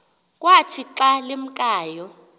kwathi xa limkayo